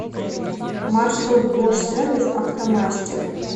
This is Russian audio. маршрут бош сервис автомастер